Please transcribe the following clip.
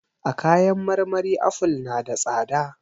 A kayan marmari aful na da tsada.